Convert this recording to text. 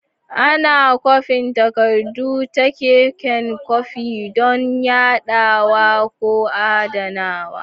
Ana kwafin takardu ta keken kwafi don yadawa ko adanawa.